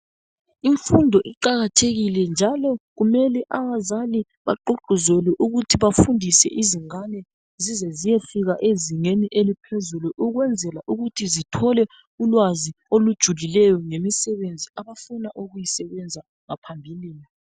Imfundo iqakathekile njalo kumele abazali bagqugquzele ukuthi bafundise izingane zizeziyefika ezingeni eliphezulu ukwenzela ukuthi zithole ulwazi olujulileyo ngemisebenzi abafuna ukuyisebenza ngaphambilini.